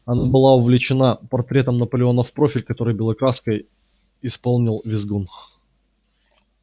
она была увлечена портретом наполеона в профиль который белой краской исполнил визгун